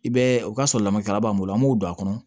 I bɛ o ka sɔrɔ lamɛkɛla b'an bolo an b'u don a kɔnɔ